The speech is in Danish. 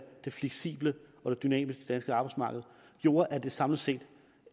det fleksible og dynamiske danske arbejdsmarked gjorde at det samlet set